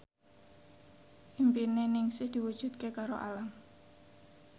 impine Ningsih diwujudke karo Alam